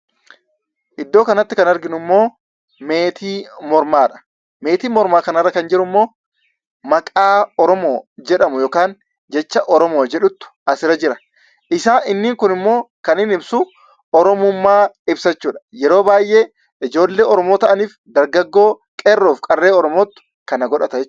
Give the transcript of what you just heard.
Iddoo kanatti kan arginummoo meetii mormaadha. Meetii mormaa kanarra kan jirummoo maqaa "OROMO " jedhamu yookaan jecha "OROMO " jedhutu asirra jira. Isaa inni kun immoo kan inni ibsu Oromummaa ibsa jechuudha. Yeroo baay'ee ijoollee Oromoo ta'aniif dargaggoo qeerroof qarree oromootu kana godhata .